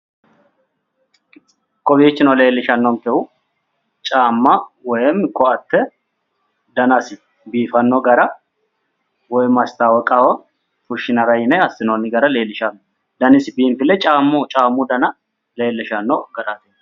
Kowiichino leellishannonkehu caamma woy ko"atte danasi biifanno gara woy mastaawoqaho fushshinara yine assinoonni gara leellishanno danasi biinfille caammu dana leellishanno